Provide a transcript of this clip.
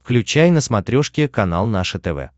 включай на смотрешке канал наше тв